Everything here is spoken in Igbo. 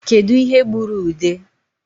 Kedu ihe gburu ude?